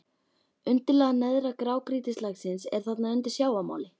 Undirlag neðra grágrýtislagsins er þarna undir sjávarmáli.